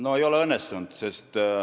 No ei ole õnnestunud.